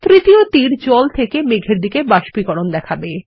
তৃতীয় তীর জল থেকে মেঘের দিকের জলের বাষ্পীকরন দেখাবে